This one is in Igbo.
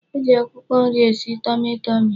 E ji akwụkwọ nri esi tọmị tọmị.